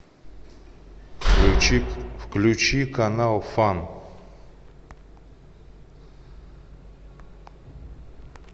включи включи канал фан